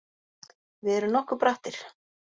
Við erum nokkuð brattir